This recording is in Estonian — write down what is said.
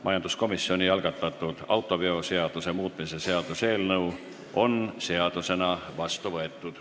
Majanduskomisjoni algatatud autoveoseaduse muutmise seaduse eelnõu on seadusena vastu võetud.